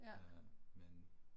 Ja